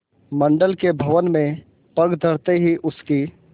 मंडल के भवन में पग धरते ही उसकी